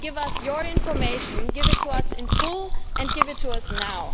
Give us your information, give it to us in full and give it to us now.